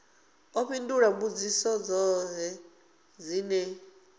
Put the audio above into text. ḓo fhindula mbudziso dzoṱhe dzine